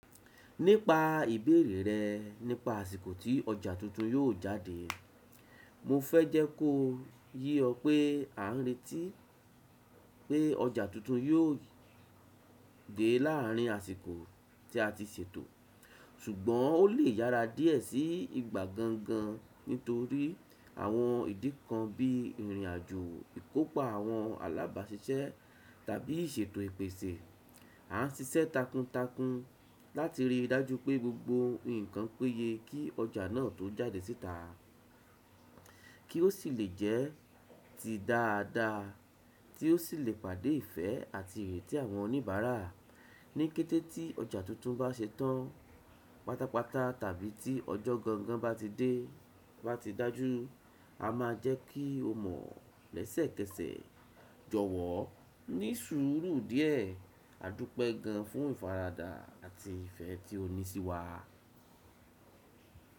Nípa ìbéèrè rẹ nípa àsìkò tí ọjà tuntun yóò jáde, mo fẹ́ jẹ́ kó ye ọ pé à ń reti pé ọjà tuntun yóò dé láàrin àsìkò tí a ti ṣètò, ṣùgbọ́n ó lè yára díẹ̀ sí ìgbà gangan nítorí àwọn ìdí kan bí ìrìnàjò ìkópa àwọn alábàáṣiṣẹ́ tàbí ìṣètò ìpèsè. Nípa ìbéèrè rẹ nípa àsìkò tí ọjà tuntun yóò jáde, mo fẹ́ jẹ́ kó ye ọ pé à ń retí Ni kété tí ọjà tuntun bá ṣetán, pátápátá tàbí tí ọjọ́ gangan bá ti dé, bá ti dájú, a máa jẹ́ kí o mọ̀ lẹ́sẹ̀kẹsẹ̀. Jọ̀wọ́, ní sùúrù díẹ̀. Àdúpẹ́ gan fún ìfaradà àti ìfẹ́ tí o ní sí wa.